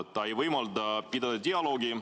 See ei võimalda pidada dialoogi.